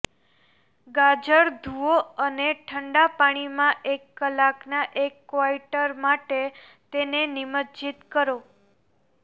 ગાજર ધૂઓ અને ઠંડા પાણીમાં એક કલાકના એક ક્વાર્ટર માટે તેને નિમજ્જિત કરો